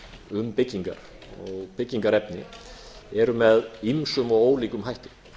um byggingar og byggingarefni eru með ýmsum og ólíkum hætti